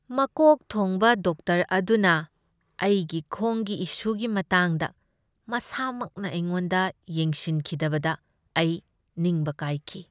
ꯃꯀꯣꯛ ꯊꯣꯡꯕ ꯗꯣꯛꯇꯔ ꯑꯗꯨꯅ ꯑꯩꯒꯤ ꯈꯣꯡꯒꯤ ꯏꯁꯨꯒꯤ ꯃꯇꯥꯡꯗ ꯃꯁꯥꯃꯛꯅ ꯑꯩꯉꯣꯟꯗ ꯌꯦꯡꯁꯤꯟꯈꯤꯗꯕꯗ ꯑꯩ ꯅꯤꯡꯕ ꯀꯥꯏꯈꯤ꯫